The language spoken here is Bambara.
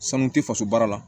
Sanu tɛ faso baara la